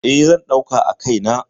E, zan ɗauka a kai na.